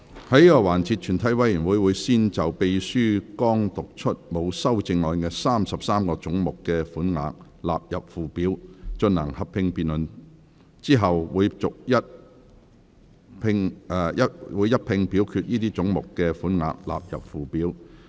在這個環節，全體委員會會先就秘書剛讀出沒有修正案的33個總目的款額納入附表，進行合併辯論。之後會一併表決該些總目的款額納入附表。